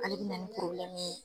Ale bɛ na ni ye.